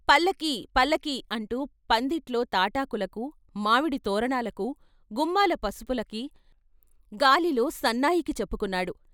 "పల్లకీ పల్లకీ" అంటూ పందిట్లో తాటాకులకు, మామిడి తోరణాలకు, గుమ్మాల పసుపులకి, గాలిలో సన్నాయికి చెప్పుకున్నాడు.